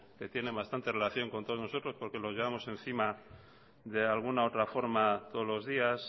tienen bastante relación con todos nosotros porque lo llevamos encima de alguna otra forma todos los días